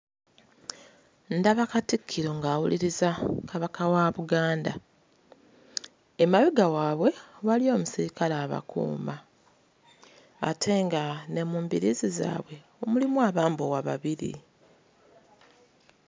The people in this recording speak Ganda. Ndaba Katikkiro ng'awuliriza Kabaka wa Buganda. Emabega waabwe waliyo omusirikale abakuuma ate nga ne mu mbiriizi zaabwe mulimu abambowa babiri.